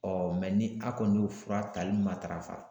ni a kɔni y'o fura tali matarafa.